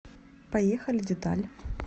поехали деталь